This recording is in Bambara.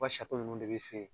Ka nunnu de bi se